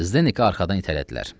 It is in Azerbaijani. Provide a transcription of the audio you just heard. Zdeneki arxadan itələdilər.